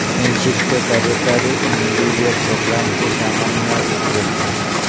INSEAD के कार्यकारी MBA programme की सामान्य रुपरेखा